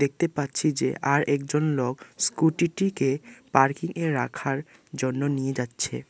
দেখতে পাচ্ছি যে আর একজন লোক স্কুটিটিকে পার্কিংএ রাখার জন্য নিয়ে যাচ্ছে।